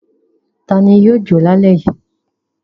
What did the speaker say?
Ta ni yóò jọ lálẹ́ yìí?